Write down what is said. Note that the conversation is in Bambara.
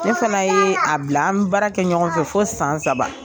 Ne fana ye a bila an bɛ baara kɛ ɲɔgɔn fɛ fo san saba.